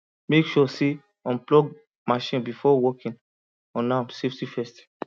make sure say unplug machine before working on am safety first